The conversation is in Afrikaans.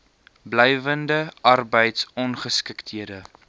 blywende arbeids ongeskiktheid